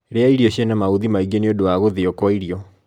rĩa irio ciĩna mauthi maĩ ngi nĩũndũ wa guthio kwa irio